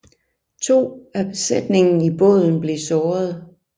To af besætningen i båden blev såret